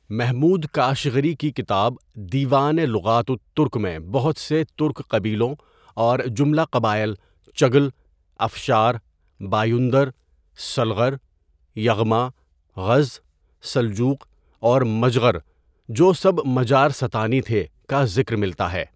محمود کاشغری کی کتاب دیوان لغات الترک میں بہت سے ترک قبیلوں اور جمله قبایل چگل، افشار، بایُندر، سلغر، یغما، غز، سلجوق اور مجغر جو سب مجارستانی تھے ، کا ذکر ملتا ہے.